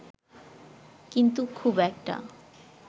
কিন্তু খুব একটা